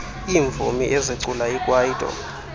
iimvumi ezicula ikwaito